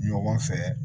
Ɲɔgɔn fɛ